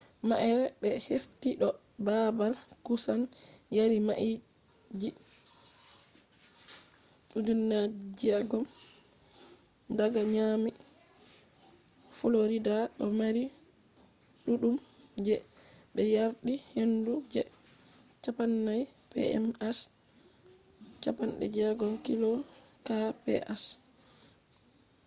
ma’ere be hefti do baabal kusan yari mailji 3,000 daga miami florida do mari ɗuɗɗum je ɓe yardi hendu je 40 mph 64kph